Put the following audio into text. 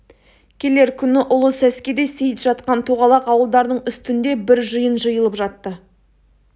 келер күні ұлы сәскеде сейіт жатқан тоғалақ ауылдарының үстінде бір жиын жиылып жатты